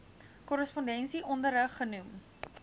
korrespondensie onderrig genoem